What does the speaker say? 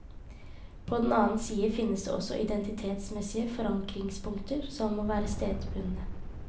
På den annen side finnes det også identitetsmessige forankringspunkter som må være stedsbundne.